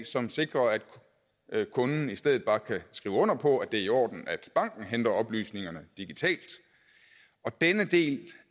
som sikrer at kunden i stedet bare kan skrive under på at det er i orden at banken henter oplysningerne digitalt denne del